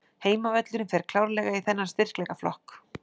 Heimavöllurinn fer klárlega í þennan styrkleikaflokk.